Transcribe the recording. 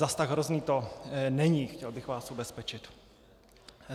Zas tak hrozné to není, chtěl bych vás ubezpečit.